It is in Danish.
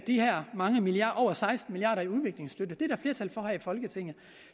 de her mange milliarder over seksten milliard kr i udviklingsstøtte det er der flertal for her i folketinget